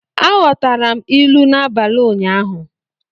Aghọtara m ilu n'abalị ụnyaahụ.